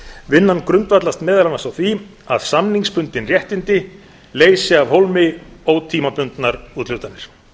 vinnan grundvallast meðal annars á því að samningsbundin réttindi leysi af hólmi ótímabundnar úthlutanir